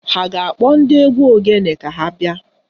Ha a ga-akpọ ndị egwu ogene ka ha bịa?